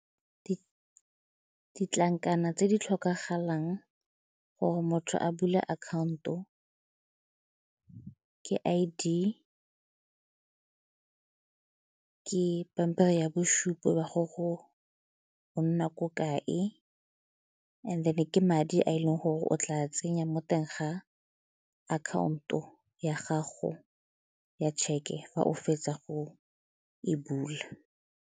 Ditlankana tse di tlhokagalang gore motho a bula akhaonto ke I_D, ke pampiri ya bosupo ba gore o nna ko kae and then-e ke madi a e leng gore o tla tsenya mo teng ga akhaonto ya gago ya tšheke fa o fetsa go e bula.